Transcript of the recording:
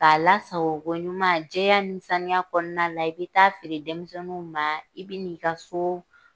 K'a lasago ko ɲuman, jɛya ni sanuya kɔnɔna la, i bɛ taa feere denmisɛninw ma. I bɛ n'i ka so